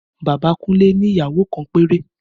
Bàbá Kunle ni ìyàwó kan péré